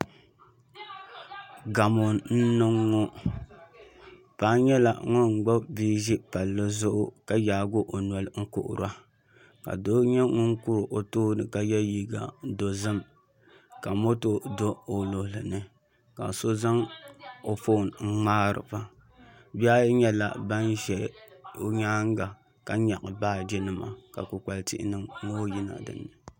Gamo n niŋ ŋo paŋa nyɛla ŋun gbubi bia ʒi palli zuɣu ka yaahi o noli n kuhura ka doo nyɛ ŋun kuri o tooni ka yɛ liiga dozim ka moto do o luɣuli ni ka so zaŋ o foon n ŋmaariba bihi ayi nyɛla ban ʒɛ i nyaanga ka nyaɣi baaji nima ka kpukpali tihi ŋo yina dinni